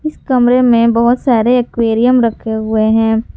इस कमरे में बहुत सारे एक्वेरियम रखे हुए हैं।